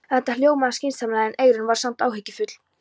Þetta hljómaði skynsamlega en Eyrún var samt áhyggjufull.